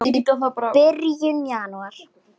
í byrjun janúar.